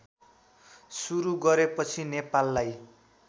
सुरू गरेपछि नेपाललाई